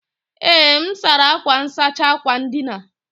Ee, m sara akwa nsachi akwa ndina